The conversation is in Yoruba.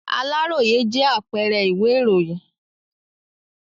Aláròyé jẹ́ apẹẹrẹ ìwé ìròyìn.